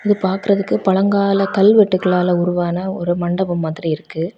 இது பாக்குறதுக்கு பழங்கால கல்வெட்டுகளால உருவான ஒரு மண்டபம் மாதிரி இருக்கு.